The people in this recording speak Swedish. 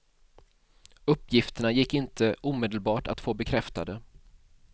Uppgifterna gick inte omedelbart att få bekräftade.